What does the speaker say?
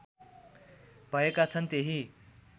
भएका छन् त्यही